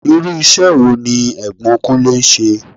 Irú ìṣe wo ní Ẹ̀gbọ́n Kunlè ń ṣe?